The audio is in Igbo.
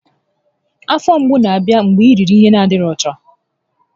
Afọ mgbu na-abịa mgbe i riri ihe n'adịghị ọcha